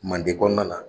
Manden kɔnɔna na